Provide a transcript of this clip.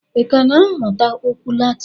I ka na-amụta okwu Latin?